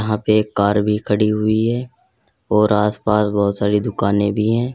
यहां पे एक कार भी खड़ी हुई है और आस पास बहुत सारी दुकानें भी है।